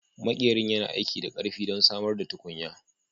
Maƙerin yana aiki da ƙarfi don samar da tukunya